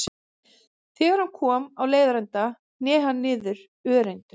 Þegar hann kom á leiðarenda hné hann niður örendur.